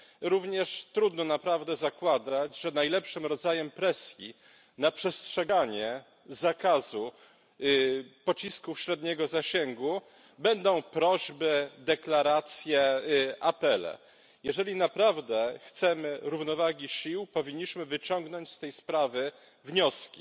Również trudno naprawdę zakładać, że najlepszym rodzajem presji na przestrzeganie zakazu pocisków średniego zasięgu będą prośby, deklaracje, apele. Jeżeli naprawdę chcemy równowagi sił, powinniśmy wyciągnąć z tej sprawy wnioski.